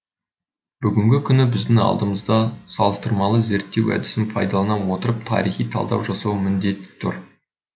бүгінгі күні біздің алдымызда салыстырмалы зерттеу әдісін пайдалана отырып тарихи талдау жасау міндеті тұр